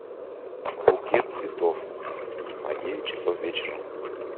букет цветов на девять часов вечера